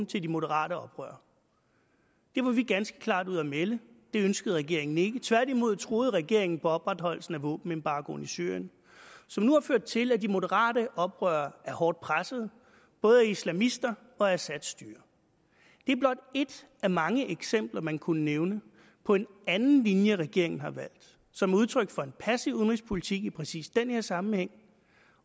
til de moderate oprørere det var vi ganske klart ude at melde det ønskede regeringen ikke tværtimod troede regeringen på opretholdelsen af våbenembargoen i syrien som nu har ført til at de moderate oprørere er hårdt presset både af islamister og af assads styre det er blot ét af mange eksempler man kunne nævne på en anden linje regeringen har valgt som udtryk for en passiv udenrigspolitik i præcis den her sammenhæng